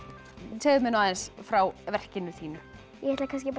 segðu mér aðeins frá verkinu þínu ég ætla að